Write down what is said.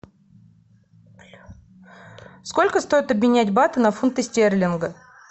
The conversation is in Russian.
сколько стоит обменять баты на фунты стерлинги